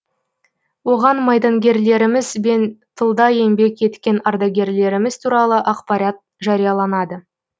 оған майдангерлеріміз бен тылда еңбек еткен ардагерлеріміз туралы ақпарат жарияланады